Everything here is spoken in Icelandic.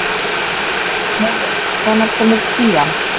Múli, hvenær kemur tían?